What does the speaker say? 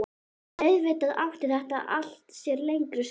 Auðvitað átti þetta allt sér lengri sögu.